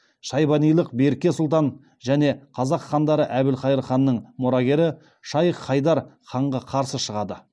шайбанилық берке сұлтан және қазақ хандары әбілхайыр ханның мұрагері шайх хайдар ханға қарсы шығады